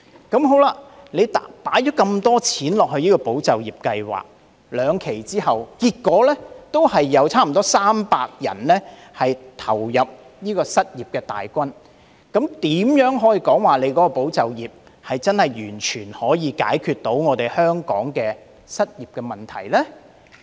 儘管投放那麼多公帑在"保就業"計劃，但在兩期計劃結束後，結果還是有近300人投入失業大軍，這怎能說"保就業"計劃能完全解決香港的失業問題呢？